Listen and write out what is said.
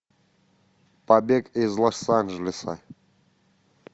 побег из лос анджелеса